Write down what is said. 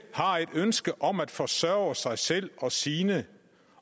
har et ønske om at forsørge sig selv og sine